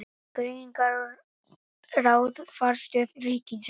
Greiningar- og ráðgjafarstöð ríkisins.